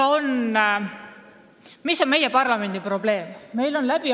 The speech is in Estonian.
Mis on meie parlamendi probleem?